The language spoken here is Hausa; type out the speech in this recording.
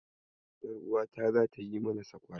Ƴaruwata zata yi mana sakwara.